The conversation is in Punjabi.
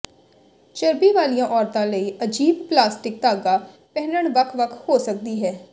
ਚਰਬੀ ਵਾਲੀਆਂ ਔਰਤਾਂ ਲਈ ਅਜੀਬ ਪਲਾਸਟਿਕ ਧਾਗਾ ਪਹਿਨਣ ਵੱਖ ਵੱਖ ਹੋ ਸਕਦੀ ਹੈ